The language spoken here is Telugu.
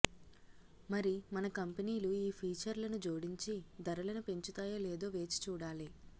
మరి మన కంపెనీలు ఈ ఫీచర్లను జోడించి ధరలను పెంచుతాయో లేదో వేచి చూడాలి